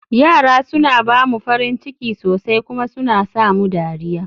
yara suna ba mu farin ciki sosai kuma suna sa mu dariya